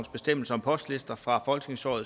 bestemmelser om postlister fra folketingsåret